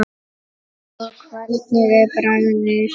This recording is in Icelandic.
Og hvernig er bragðið?